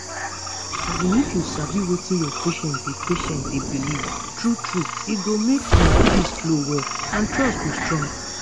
as in if you sabi wetin your patient dey patient dey believe true true e go make una gist flow well and trust go strong.